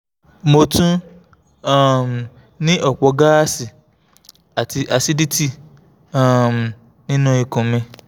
mo tún um ní ọ̀pọ̀ gáàsì àti acidity um nínú ikun mi